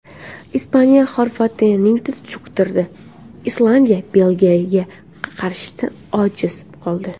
Ispaniya Xorvatiyani tiz cho‘ktirdi, Islandiya Belgiya qarshisida ojiz qoldi .